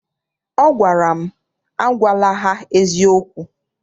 Ọ gwara m, agwala ha eziokwu!